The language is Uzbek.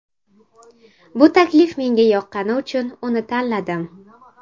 Bu taklif menga yoqqani uchun uni tanladim.